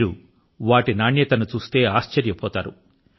మీరు వాటి నాణ్యత ను చూస్తే ఆశ్చర్యపోతారు